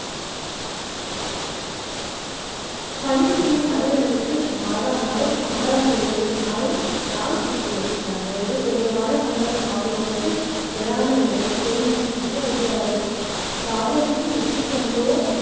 பணிபுரியும் அலுவலகத்தில் மாதா மாதம் சம்பளம் கிடைக்கும் நாளில் நாம் சிரிக்கிறோம். நம்மை விட குறைவான சம்பளம் வாங்குபவர்கள், பொறாமயுடன் பெருமூச்சு விட்டு அழுகிறார்கள். காதலித்து வெற்றி கண்டோ